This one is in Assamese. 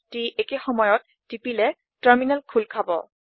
CTRLALTT একে সময়ত টিপিলে টাৰ্মিলেন খোল খাব